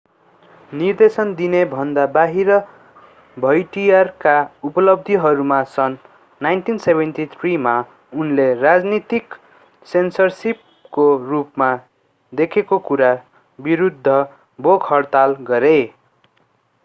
निर्देशन दिनेभन्दा बाहिर भौटियरका उपलब्धिहरूमा सन् 1973 मा उनले राजनीतिक सेन्सरशिपको रूपमा देखेको कुरा विरूद्ध भोक-हडताल गरे